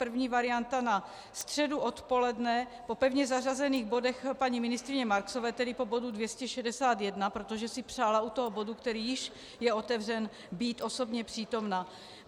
První varianta na středu odpoledne po pevně zařazených bodech paní ministryně Marksové, tedy po bodu 261, protože si přála u toho bodu, který již je otevřen, být osobně přítomna.